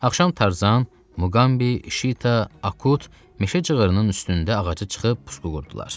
Axşam Tarzan, Muqambi, Şita, Akut meşə cığırının üstündə ağacı çıxıb pusqu qurdular.